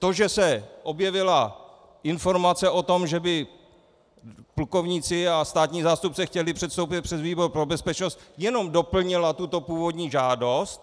To, že se objevila informace o tom, že by plukovníci a státní zástupce chtěli předstoupit před výbor pro bezpečnost, jenom doplnila tuto původní žádost.